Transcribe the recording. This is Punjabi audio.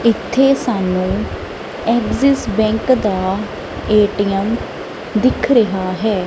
ਇੱਥੇ ਸਾਨੂੰ ਏਗਜ਼ਿਸ ਬੈਂਕ ਦਾ ਏ_ਟੀ_ਐਮ ਦਿਖ ਰਿਹਾ ਹੈ।